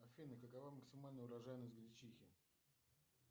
афина какова максимальная урожайность гречихи